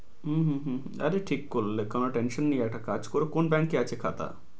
হম হম হম আরে ঠিক করলে, কোন tension নেই, একটা কাজ করো কোন bank এ আছে খাতা?